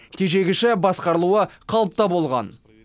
тежегіші басқарылуы қалыпта болған